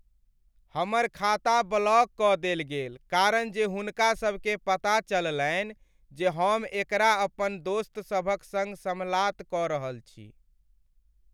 हमर खाता ब्लॉक कऽ देल गेल कारण जे हुनका सब के पता चललनि जे हम एकरा अपन दोस्तसभक सङ्ग समलात कऽ रहल छी।